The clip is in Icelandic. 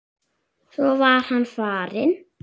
Svo var hann farinn.